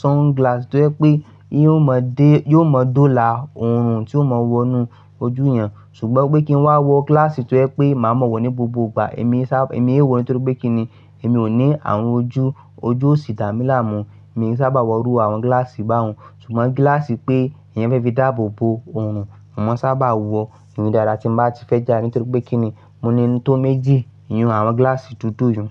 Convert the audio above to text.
sunglass tó jẹ pé, iyun ó máa dé, yóò mo dólà òòrùn tí ó máa wọnú ojú yẹn. Sùgbọ́n pé kí n wá wọ gíláàsì tó jẹ pé, màá mọ̀ wọ́ ní gbogbo ìgbà, èmi sábà, èmi é wò ó nítorí pé kí ni, èmi ò ní àrun ojú, ojú ò sì dàmí láàmú. Mi sábà wọ rú àwọn gíláàsì báwọ̀n, ṣùgbọ́n gíláàsì pé èèyàn fẹ́ fi dáàbò bo òòrùn, mò ḿo sábà wọ̀, íyen dáadáa tí n bá ti fẹ́ jàde nítorí pé kí ni, mo ni i tó méjì, iyun àwọn gíláàsì dudu yẹn.